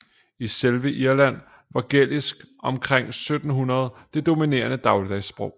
I selve Irland var gælisk omkring 1700 det dominerende dagligdagssprog